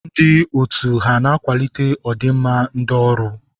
Ndị otu ha na-akwalite ọdị nma ndi ọrụ?